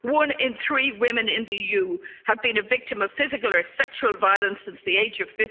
violence. One in three women in the EU has been a victim of physical or sexual violence since the